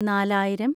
നാലായിരം